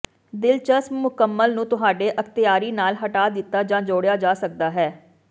ਦਿਲਚਸਪ ਮੁਕੰਮਲ ਨੂੰ ਤੁਹਾਡੇ ਅਖ਼ਤਿਆਰੀ ਨਾਲ ਹਟਾ ਦਿੱਤਾ ਜਾਂ ਜੋੜਿਆ ਜਾ ਸਕਦਾ ਹੈ